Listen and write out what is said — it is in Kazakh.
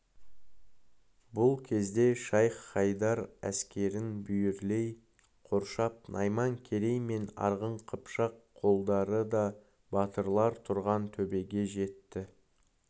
бұл кезде шайх-хайдар әскерін бүйірлей қоршап найман керей мен арғын қыпшақ қолдары да батырлар тұрған төбеге жетті